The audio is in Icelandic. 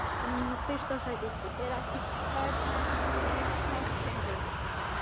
Er ekki barnaheimili í plássinu?